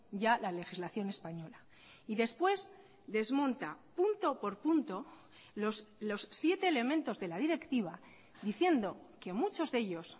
ya la legislación española y después desmonta punto por punto los siete elementos de la directiva diciendo que muchos de ellos